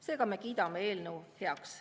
Seega me kiidame eelnõu heaks.